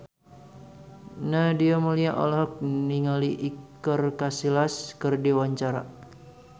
Nadia Mulya olohok ningali Iker Casillas keur diwawancara